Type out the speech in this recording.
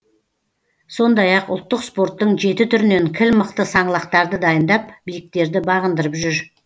сондай ақ ұлттық спорттың жеті түрінен кіл мықты саңлақтарды дайындап биіктерді бағындырып жүр